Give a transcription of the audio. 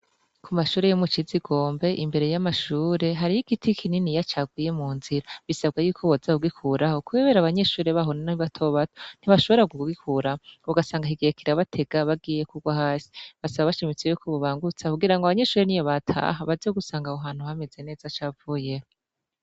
Ku mashure yo mucizigombe , imbere y'amashure hariho giti kininiya caguye mu nzira bisabwa yuko boza kugikuraho kubera abanyeshure baho ni batobato ntibashobora kugikuraho ugasanga kigiye kirabatega bagiye kugwa hasi , basaba bashimitse yuko bobangutsa kugira ngo abanyeshure niyo bataha baze gusanga aho hantu hameze neza cavuyeho.